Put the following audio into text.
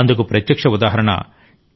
అందుకు ప్రత్యక్ష ఉదాహరణ టి